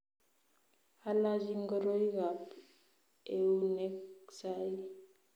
Alachi ngoroikab eunek sai